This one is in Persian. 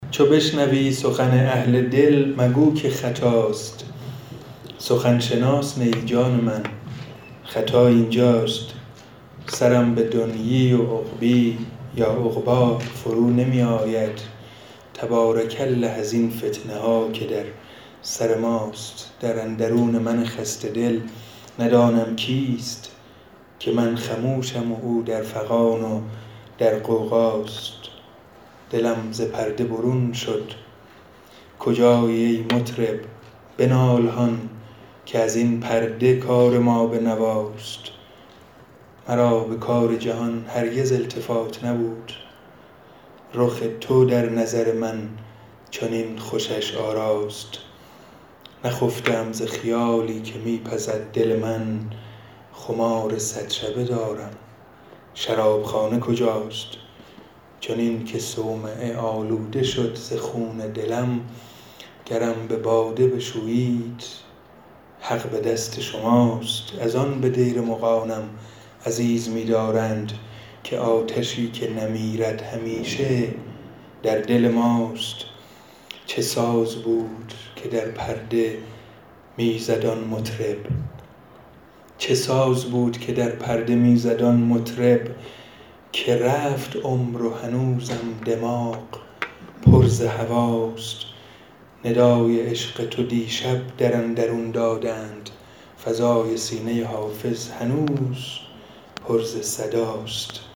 چو بشنوی سخن اهل دل مگو که خطاست سخن شناس نه ای جان من خطا این جاست سرم به دنیی و عقبی فرو نمی آید تبارک الله ازین فتنه ها که در سر ماست در اندرون من خسته دل ندانم کیست که من خموشم و او در فغان و در غوغاست دلم ز پرده برون شد کجایی ای مطرب بنال هان که از این پرده کار ما به نواست مرا به کار جهان هرگز التفات نبود رخ تو در نظر من چنین خوشش آراست نخفته ام ز خیالی که می پزد دل من خمار صد شبه دارم شراب خانه کجاست چنین که صومعه آلوده شد ز خون دلم گرم به باده بشویید حق به دست شماست از آن به دیر مغانم عزیز می دارند که آتشی که نمیرد همیشه در دل ماست چه ساز بود که در پرده می زد آن مطرب که رفت عمر و هنوزم دماغ پر ز هواست ندای عشق تو دیشب در اندرون دادند فضای سینه حافظ هنوز پر ز صداست